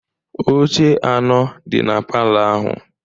Oche anọ dị na palọ ahụ.